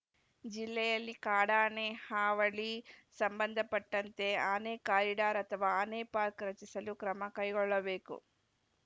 ಜಿಲ್ಲೆಯಲ್ಲಿ ಕಾಡಾನೆ ಹಾವಳಿ ಸಂಬಂಧಪಟ್ಟಂತೆ ಆನೆ ಕಾರಿಡಾರ್‌ ಅಥವಾ ಆನೆ ಪಾರ್ಕ್ ರಚಿಸಲು ಕ್ರಮ ಕೈಗೊಳ್ಳಬೇಕು